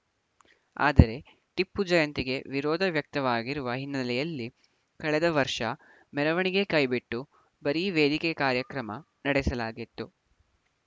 ಆದರೆ ಟಿಪ್ಪು ಜಯಂತಿಗೆ ವಿರೋಧ ವ್ಯಕ್ತವಾಗಿರುವ ಹಿನ್ನೆಲೆಯಲ್ಲಿ ಕಳೆದ ವರ್ಷ ಮೆರವಣಿಗೆ ಕೈಬಿಟ್ಟು ಬರೀ ವೇದಿಕೆ ಕಾರ್ಯಕ್ರಮ ನಡೆಸಲಾಗಿತ್ತು